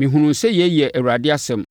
“Mehunuu sɛ yei yɛ Awurade asɛm.”